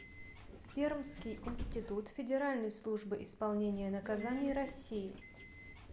пермский институт федеральной службы исполнения наказаний россии